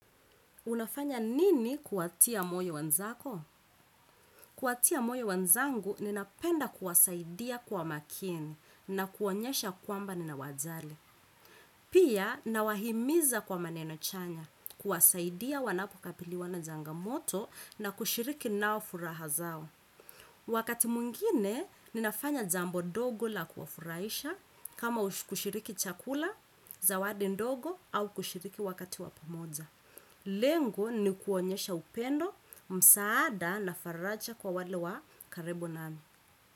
Unafanya nini kuwatia moyo wenzako? Kuwatia moyo wanzangu ninapenda kuwasaidia kwa makini na kuonyesha kwamba nina wajali. Pia nawahimiza kwa maneno chanya, kuwasaidia wanapo kapiliwana jangamoto na kushiriki nao furaha zao. Wakati mwingine, ninafanya jambo dogo la kuwafurahisha, kama kushiriki chakula, zawadi ndogo, au kushiriki wakati wa pamoja. Lengo ni kuonyesha upendo msaada na faraja kwa wale wa karibu nami.